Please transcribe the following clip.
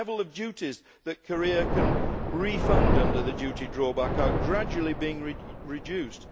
The level of duties that Korea can refund under the duty drawback are gradually being reduced.